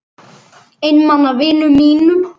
Einmana vinum mínum.